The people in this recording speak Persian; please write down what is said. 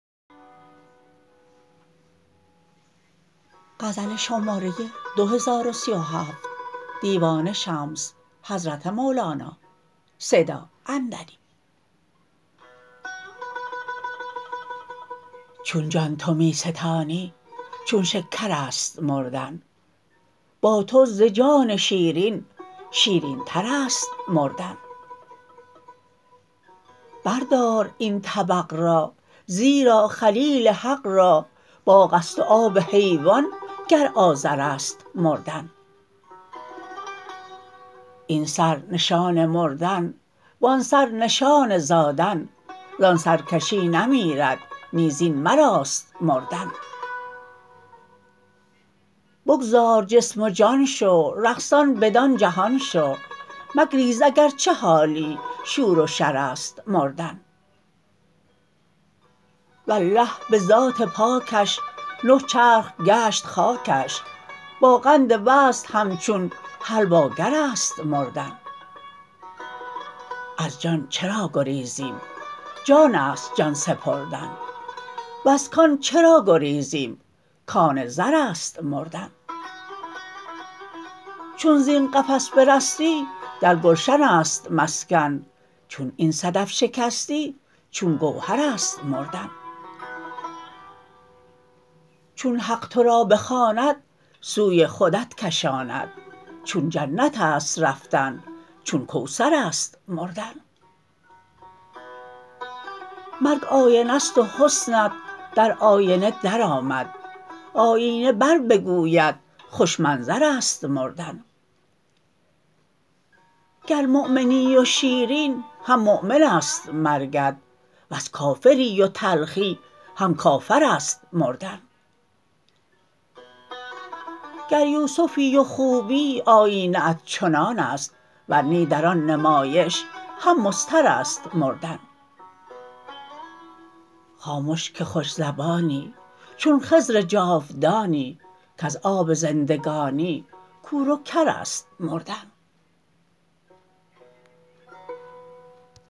چون جان تو می ستانی چون شکر است مردن با تو ز جان شیرین شیرینتر است مردن بردار این طبق را زیرا خلیل حق را باغ است و آب حیوان گر آذر است مردن این سر نشان مردن و آن سر نشان زادن زان سر کسی نمیرد نی زین سر است مردن بگذار جسم و جان شو رقصان بدان جهان شو مگریز اگر چه حالی شور و شر است مردن والله به ذات پاکش نه چرخ گشت خاکش با قند وصل همچون حلواگر است مردن از جان چرا گریزیم جان است جان سپردن وز کان چرا گریزیم کان زر است مردن چون زین قفس برستی در گلشن است مسکن چون این صدف شکستی چون گوهر است مردن چون حق تو را بخواند سوی خودت کشاند چون جنت است رفتن چون کوثر است مردن مرگ آینه ست و حسنت در آینه درآمد آیینه بربگوید خوش منظر است مردن گر مؤمنی و شیرین هم مؤمن است مرگت ور کافری و تلخی هم کافر است مردن گر یوسفی و خوبی آیینه ات چنان است ور نی در آن نمایش هم مضطر است مردن خامش که خوش زبانی چون خضر جاودانی کز آب زندگانی کور و کر است مردن